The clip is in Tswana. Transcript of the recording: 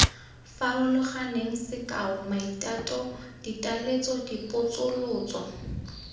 farologaneng sekao maitato ditaletso dipotsolotso